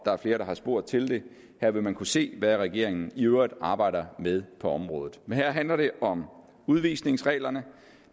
er flere der har spurgt til det her vil man kunne se hvad regeringen i øvrigt arbejder med på området men her handler det om udvisningsreglerne